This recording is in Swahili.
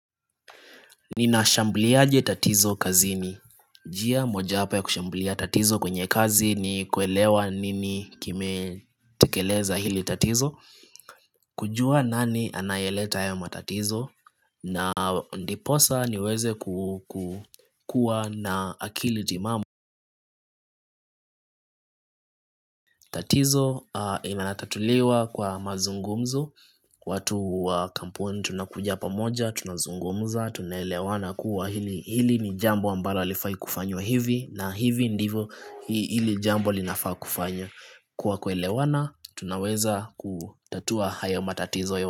Ninashambliaje tatizo kazini. Njia mojawapo ya kushamblia tatizo kwenye kazi ni kuelewa nini kimetekeleza hili tatizo. Kujua nani anayeleta haya matatizo na ndiposa niweze kukua na akili timamu. Tatizo inatatuliwa kwa mazungumzo, watu wa kampuni tunakuja pamoja, tunazungumza, tunaelewana kuwa hili ni jambo ambalo halifai kufanywa hivi, na hivi ndivyo hili jambo linafaa kufanywa. Kwa kuelewana, tunaweza kutatua hayo matatizo.